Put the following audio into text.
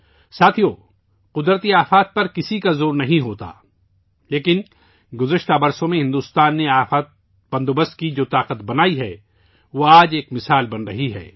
ساتھیو، قدرتی آفات پر کسی کا زور نہیں ہوتا، لیکن بھارت نے گزشتہ برسوں میں ڈیزاسٹر مینجمنٹ کی جو طاقت پیدا کی ہے، وہ آج ایک مثال بن رہی ہے